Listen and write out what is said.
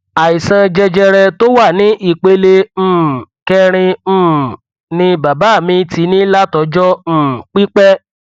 àìsàn jẹjẹrẹ tó wà ní ìpele um kẹrin um ni bàbá mi ti ní látọjọ um pípẹ